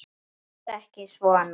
Láttu ekki svona.